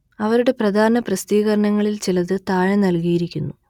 അവരുടെ പ്രധാന പ്രസിദ്ധീകരണങ്ങളിൽ ചിലത് താഴെ നൽകിയിരിക്കുന്നു